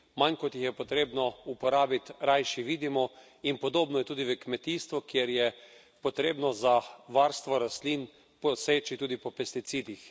Manj kot jih je potrebno uporabiti, rajši vidimo, in podobno je tudi v kmetijstvu, kjer je potrebno za varstvo rastlin poseči tudi po pesticidih.